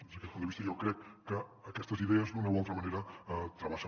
des d’aquest punt de vista jo crec que aquestes idees d’una o altra manera travessen